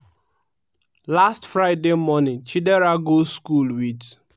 last friday morning chidera go school wit